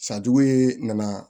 San jugu ee nana